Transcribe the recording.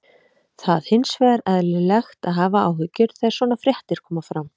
Það hins vegar eðlilegt að hafa áhyggjur þegar svona fréttir koma fram.